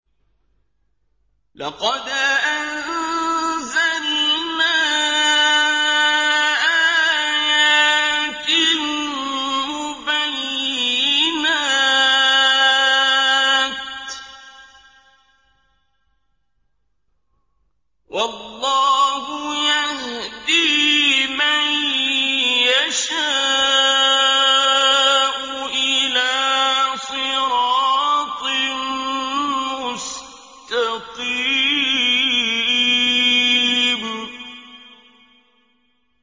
لَّقَدْ أَنزَلْنَا آيَاتٍ مُّبَيِّنَاتٍ ۚ وَاللَّهُ يَهْدِي مَن يَشَاءُ إِلَىٰ صِرَاطٍ مُّسْتَقِيمٍ